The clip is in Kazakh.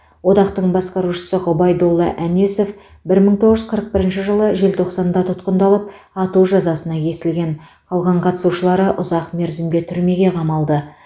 одақтың басқарушысы ғұбайдолла әнесов бір мың тоғыз жүз қырық бірінші жылы желтоқсанда тұтқындалып ату жазасына кесілген қалған қатысушылары ұзақ мерзімге түрмеге қамалды